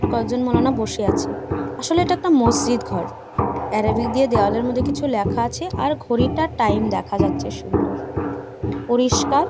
কয়েকজন মাওলানা বসে আছে | আসলে এটা একটা মসজিদ ঘর | এরাবিক দিয়ে দেওয়ালের মধ্যে কিছু লেখা আছে |আর ঘড়িটার টাইম দেখা যাচ্ছে সুন্দর পরিষ্কার।